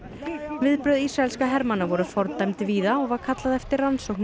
viðbrögð ísraelskra hermanna voru fordæmd víða og var kallað eftir rannsókn á